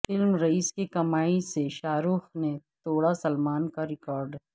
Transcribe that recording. film Raees کی کمائی سے شاہ رخ نے توڑا سلمان کا ریکارڈ